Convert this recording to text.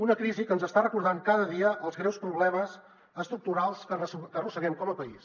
una crisi que ens està recordant cada dia els greus problemes estructurals que arrosseguem com a país